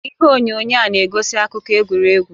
Ihe onyonyo a na-egosi akụkọ egwuregwu